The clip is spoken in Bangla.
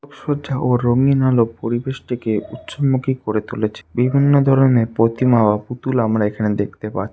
সজ্জা ও রঙিন আলো পরিবেশটিকে উৎসবমুখী করে তুলেছে বিভিন্ন ধরনের প্রতিমা ও পুতুল আমরা এখানে দেখতে পার --